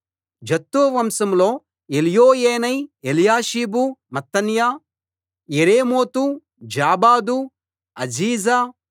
Zattu వంశంలో Elioenai Eliashib Mattaniah Jeremoth Zabad Aziza